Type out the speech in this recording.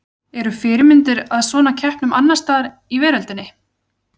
Eru fyrirmyndir að svona keppnum annars staðar í veröldinni?